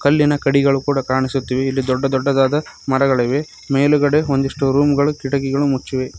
ಕಲ್ಲಿನ ಕಡಿಗಳು ಕೂಡ ಕಾಣಿಸುತ್ತಿವೆ ಇಲ್ಲಿ ದೊಡ್ಡ ದೊಡ್ಡದಾದ ಮರಗಳಿವೆ ಮೇಲುಗಡೆ ಒಂದಿಷ್ಟು ರೂಮುಗಳು ಕಿಟಕಿಗಳು ಮುಚ್ಚಿವೆ.